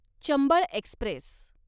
Chambal Express